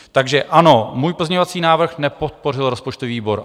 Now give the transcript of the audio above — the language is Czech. Takže ano, můj pozměňovací návrh nepodpořil rozpočtový výbor.